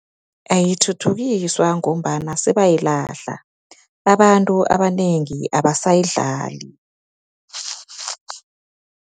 Ayithuthukiswa ngombana sebayilahla, babantu abanengi abasayidlali.